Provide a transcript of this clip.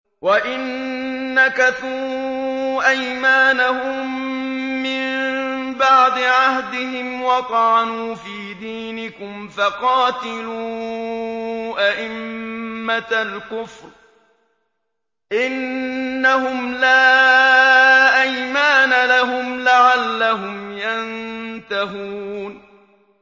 وَإِن نَّكَثُوا أَيْمَانَهُم مِّن بَعْدِ عَهْدِهِمْ وَطَعَنُوا فِي دِينِكُمْ فَقَاتِلُوا أَئِمَّةَ الْكُفْرِ ۙ إِنَّهُمْ لَا أَيْمَانَ لَهُمْ لَعَلَّهُمْ يَنتَهُونَ